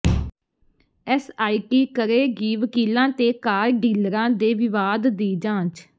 SIT ਕਰੇਗੀ ਵਕੀਲਾਂ ਤੇ ਕਾਰ ਡੀਲਰਾਂ ਦੇ ਵਿਵਾਦ ਦੀ ਜਾਂਚ